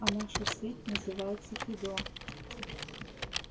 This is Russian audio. а наша сеть называется фидо